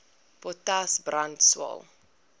potas brand swael